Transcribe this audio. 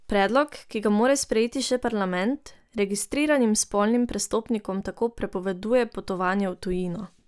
Predlog, ki ga mora sprejeti še parlament, registriranim spolnim prestopnikom tako prepoveduje potovanje v tujino.